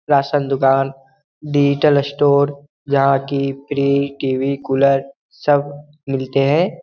Ration दुकान digital store यहाँ की फ्री टी.वी. कूलर सब मिलते हैं ।